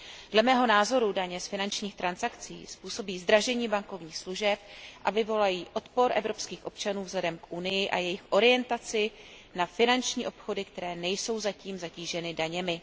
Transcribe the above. Dle mého názoru daně z finančních transakcí způsobí zdražení bankovních služeb a vyvolají odpor evropských občanů k Evropské unii a jejich orientaci na finanční obchody, které nejsou zatím zatíženy daněmi.